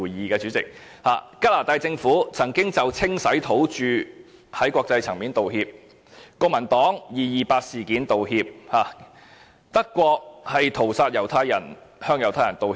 加拿大政府曾經就文化清洗土著在國際層面道歉，國民黨曾就二二八事件道歉，德國就屠殺向猶太人道歉。